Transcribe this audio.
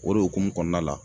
O de hokumu kɔɔna la